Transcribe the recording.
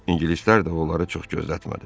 İngilislər də onları çox gözlətmədi.